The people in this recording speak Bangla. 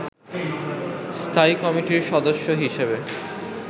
স্থায়ী কমিটির সদস্য হিসেবে